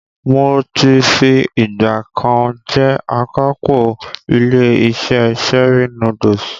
Mo ti fi ìgbà kan rí jẹ́ akápò ilé-iṣẹ́ Cherie Noodles.